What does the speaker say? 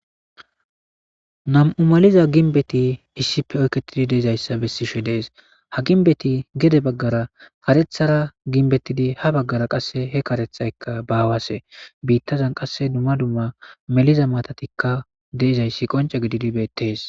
Nam''u malizza ginbetti issippe oyiketti dishshe dizayissa besees.haa ginbetti gede bagara kareththara ginbettid haa bagara qasee hee kareththayikka bawasse .bitazanni qase dumma dumma melizza matattikka de'izayiss qocce gididi betees.